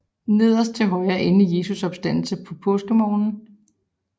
Nederst til højre endelig Jesu opstandelse påskemorgen